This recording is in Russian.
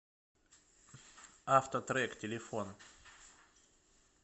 авто трек телефон